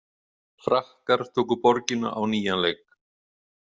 Frakkar tóku borgina á nýjan leik.